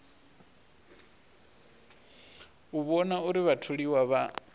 u vhona uri vhatholiwa vha